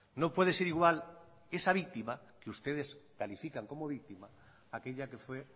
no puede ser igual esa víctima que ustedes califican como víctima aquella que fue